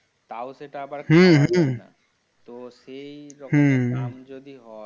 তাও সেটা আবার হুম হুম তো হুম সেই রকম দাম যদি হয়।